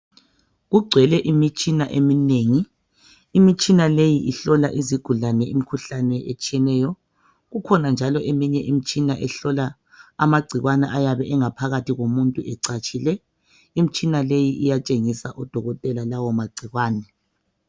Kugcwele imitshina eminengi, imitshina leyi ihlola izigulane imikhuhlane etshiyeneyo. Ikhona njalo eminye imitshina ehlola amagcikwane ayabe engaphakathi komuntu ecatshile. Imitshina leyi iyatshengisa odokotela lawomagcikwane.